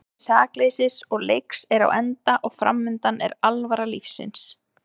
Tími sakleysis og leiks er á enda og framundan er alvara lífsins.